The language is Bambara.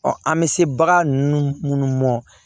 an bɛ se bagan ninnu minnu mɔ